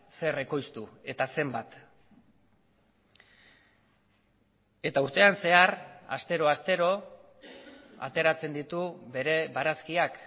zer ekoiztu eta zenbat eta urtean zehar astero astero ateratzen ditu bere barazkiak